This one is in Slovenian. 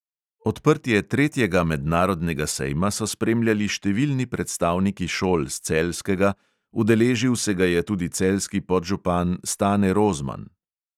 Odprtje tretjega mednarodnega sejma so spremljali številni predstavniki šol s celjskega, udeležil se ga je tudi celjski podžupan stane rozman.